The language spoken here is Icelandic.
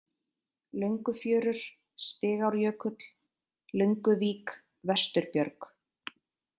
Löngufjörur, Stigárjökull, Lönguvík, Vesturbjörg